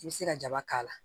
I bɛ se ka jaba k'a la